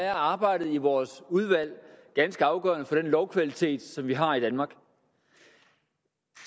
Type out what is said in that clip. er arbejdet i vores udvalg ganske afgørende for den lovkvalitet som vi har i danmark